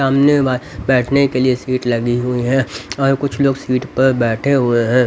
सामने बैठने के लिए सीट लगी हुई है और कुछ लोग सीट पर बैठे हुए हैं.